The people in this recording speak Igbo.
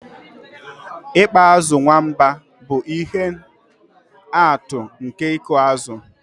Ịkpa azụ̀ nwamba bụ ihe atụ nke ịkụ azụ̀